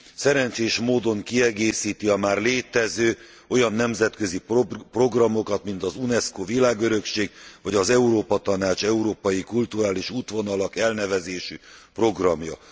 szerencsés módon kiegészíti a már létező olyan nemzetközi programokat, mint az UNESCO világörökség, vagy az Európa Tanács Európai Kulturális Útvonalak elnevezésű programja.